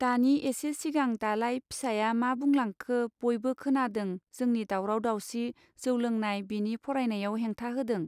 दानि एसे सिगां दालाय फिसाया मा बुंलांखो बयबो खोनादों जोंनि दावराव दावसि जौ लोंनाय बिनि फरायनायाव हेंथा होदों.